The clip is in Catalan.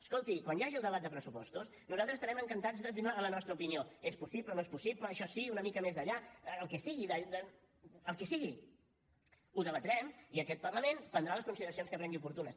escolti quan hi hagi el debat de pressupostos nosaltres estarem encantats de donar la nostra opinió és possible no és possible això sí una mica més d’allà el que sigui el que sigui ho debatrem i aquest parlament prendrà les consideracions que cregui oportunes